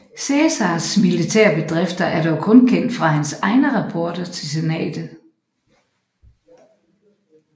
Cæsars militære bedrifter er dog kun kendt fra hans egne rapporter til senatet